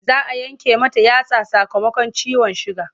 Za a yanke mata yatsa sakamakon ciwon suga.